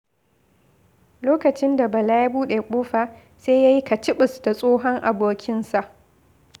Lokacin da Bala ya buɗe kofa, sai ya yi kaciɓis da tsohon abokinsa.